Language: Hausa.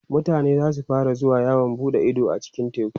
mutane zasu fara zuwa yawon buɗe Ido a cikin teku